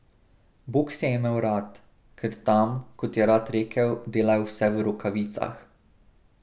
Boks je imel rad, ker tam, kot je rad rekel, delajo vse v rokavicah.